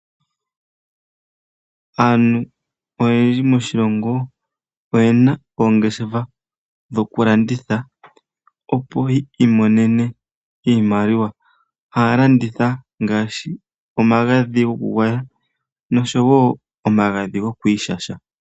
Aantu oyendji moshilongo oyena oongeshefa dhoku landitha opo yi imonene iimaliwa, haya landitha ngaashi omagadhi gokugwaya noshowo omagadhi gokwiishasha.